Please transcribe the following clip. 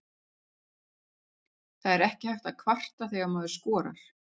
Það er ekki hægt að kvarta þegar maður skorar?